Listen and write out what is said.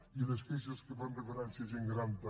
i les queixes que fan referència a gent gran també